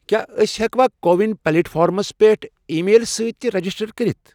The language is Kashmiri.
کیٛاہ أسۍ ہیٚکوا کو وِن پلیٹ فارمَس پٮ۪ٹھ ای میل سۭتۍ تہِ رجسٹر کٔرِتھ؟